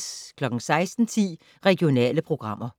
16:10: Regionale programmer